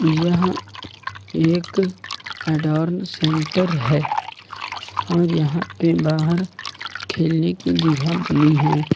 यहां एक एडोर्न सेंटर है और यहां के बाहर खेलने की जगह बनी है।